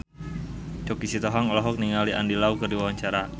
Choky Sitohang olohok ningali Andy Lau keur diwawancara